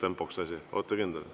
Olete kindel?